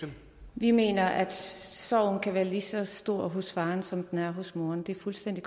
vi mener at sorgen kan være lige så stor hos faren som den er hos moren det er fuldstændig